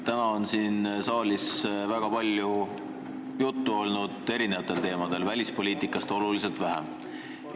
Täna on siin saalis väga palju juttu olnud erinevatel teemadel, välispoliitikast aga väga vähe.